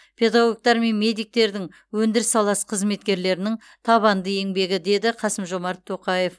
педагогтар мен медиктердің өндіріс саласы қызметкерлерінің табанды еңбегі деді қасым жомарт тоқаев